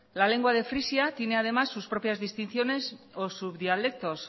la lengua de frisia tiene además sus propias distinciones o subdialectos